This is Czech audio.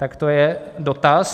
Tak to je dotaz.